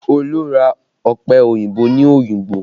Olu ra ọpẹ òyìnbó ní Oyingbo